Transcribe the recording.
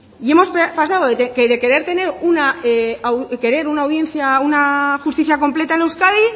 y hemos pasado de querer una justicia completa en euskadi